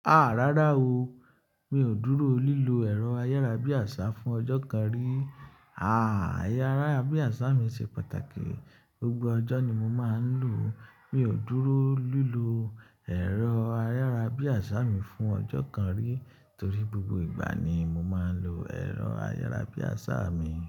A! Rárá o, mi ò dúró lílo ẹ̀rọ ayárabíàṣá fún ọjọ́ kan rí. A! Ayárá bíàṣá mi ṣe pàtàkì, gbogbo ọjọ́ ni mo máa ń lò ó. Mi ò dúró lílo ẹ̀rọ ayárá bíàṣá mi fún ọjọ́ kan rí torí gbogbo ìgbà ni mo máa ń lo ẹ̀rọ ayárá bíàṣá mi.